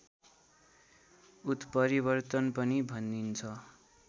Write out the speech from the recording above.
उत्परिवर्तन पनि भनिन्छ